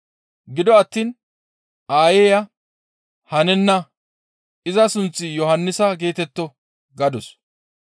Gido attiin aayeya, «Hanenna; iza sunththi Yohannisa geetetto» gadus.